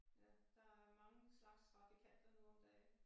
Ja der er mange slags trafikanter nu om dage